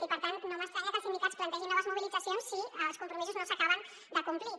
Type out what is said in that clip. i per tant no m’estranya que els sindicats plantegin noves mobilitzacions si els compromisos no s’acaben de complir